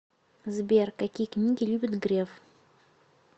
сбер какие книги любит греф